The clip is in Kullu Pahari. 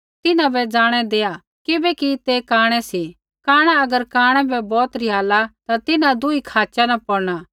तिन्हां बै ज़ाणै दैआ किबैकि ते कांणै सी कांणा अगर कांणै बै बौत रिहाला ता तिन्हां दुही खाचै न पौड़ना